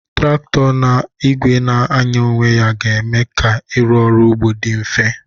Traktọ na igwe na-anya onwe ya ga eme ka irụ ọrụ ugbo di mfe.